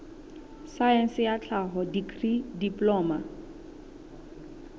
saense ya tlhaho dikri diploma